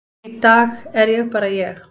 í dag er ég bara ég.